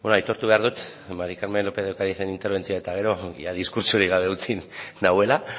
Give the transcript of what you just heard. aitortu behar dut mari carmen lópez de ocarizen interbentzioa eta ger o diskurtsorik gabe utzi nauela